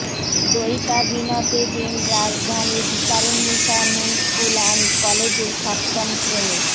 দয়ীতা বিনতে দীন রাজধানীর ভিকারুননিসা নূন স্কুল অ্যান্ড কলেজের সপ্তম শ্রেণির